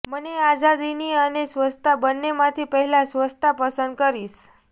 મને આઝાદી અને સ્વચ્છતા બંનેમાથી પહેલા સ્વચ્છતા પસંદ કરીશ